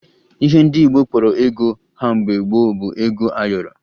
Ihe ndị Igbo kpọrọ ego ha mgbe gboo bụ ego ayọrọ